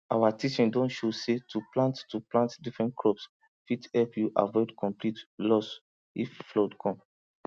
our teaching don show say to plant to plant different crops fit help you avoid complete loss if flood come